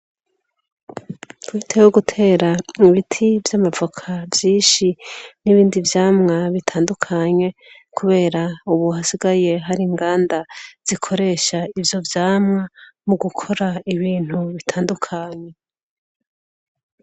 Aho gutera ibiti vyamavoka vyinshi, n'ibindi vyamwa bitandukanye, kubera ubu hasigaye hari inganda zikoresha ivyo vyamwa, mugukora ibintu bitandukanye.